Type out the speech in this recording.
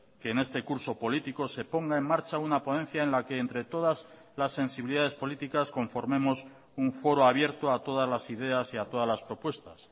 que en este curso político se ponga en marcha una ponencia en la que entre todas las sensibilidades políticas conformemos un foro abierto a todas las ideas y a todas las propuestas